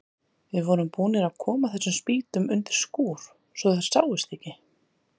Við vorum búnir að koma þessum spýtum undir skúr svo þær sáust ekki.